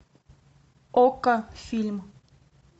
окко фильм